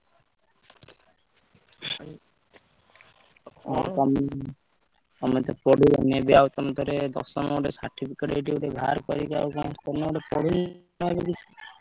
ଆଉ ତମେ ତମେ ତ ପଢିଲନି ଆଉ ପୁଣି ଥରେ ଦଶମ ଗୋଟେ certificate ଏଇଠି ଗୋଟେ ବାହାରକରିକି ଆଉ କଣ ଗୋଟେ ପଢୁନୁ ଯାହାବି କିଛି।